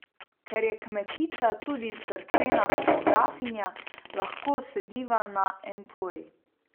Ker je Kmetica tudi cerkvena fotografinja, lahko sediva na empori.